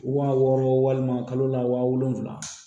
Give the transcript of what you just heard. Wa wɔɔrɔ walima kalo la wa wolonfila